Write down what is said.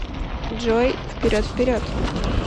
джой вперед вперед